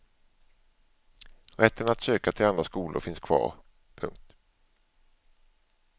Rätten att söka till andra skolor finns kvar. punkt